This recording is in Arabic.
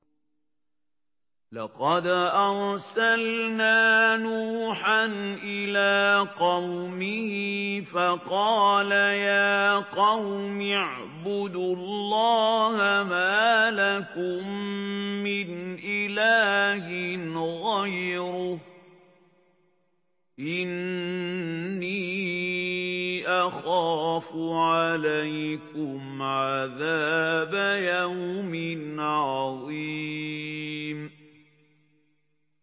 لَقَدْ أَرْسَلْنَا نُوحًا إِلَىٰ قَوْمِهِ فَقَالَ يَا قَوْمِ اعْبُدُوا اللَّهَ مَا لَكُم مِّنْ إِلَٰهٍ غَيْرُهُ إِنِّي أَخَافُ عَلَيْكُمْ عَذَابَ يَوْمٍ عَظِيمٍ